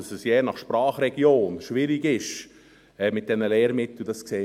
Und dass es mit diesen Lehrmitteln je nach Sprachregion schwierig ist, sehen wir ja auch;